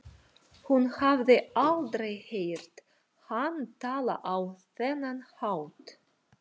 Hún hafði aldrei heyrt hann tala á þennan hátt.